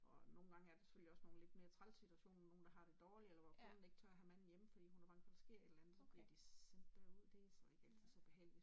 Og nogle gange er der selvfølgelig også nogen lidt mere træls situationer, nogen der har det dårlig, eller hvor konen ikke tør have manden hjemme, fordi hun er bange for der sker et eller andet, så bliver de sendt derud, det så ikke altid så behageligt